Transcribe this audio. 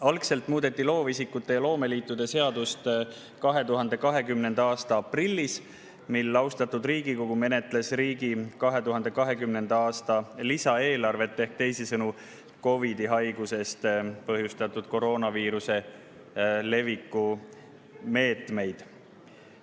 Algselt muudeti loovisikute ja loomeliitude seadust 2020. aasta aprillis, mil austatud Riigikogu menetles riigi 2020. aasta lisaeelarvet ehk teisisõnu COVID‑i haigust põhjustava koroonaviiruse leviku meetmeid.